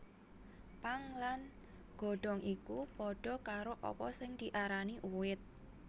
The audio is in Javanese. Pang lan godhong iku padha karo apa sing diarani uwit